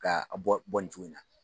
K'a bɔ bɔ nin cogo nin na